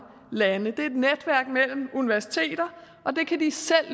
lande det er et netværk mellem universiteter og det kan de selv